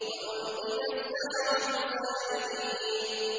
وَأُلْقِيَ السَّحَرَةُ سَاجِدِينَ